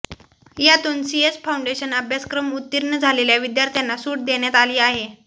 यातून CS foundation अभ्यासक्रम उत्तीर्ण झालेल्या विद्यार्थ्यांना सूट देण्यात आली आहे